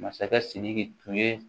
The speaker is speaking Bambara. Masakɛ sidiki tun ye